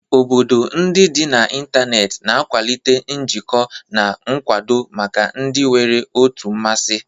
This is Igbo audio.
Obodo ndị dị n'ịntanetị na-akwalite njikọ na nkwado maka ndị nwere otu mmasị.